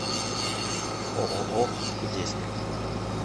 ооо кудесник